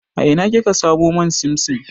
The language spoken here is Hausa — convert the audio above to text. A ina kika samu man simsim?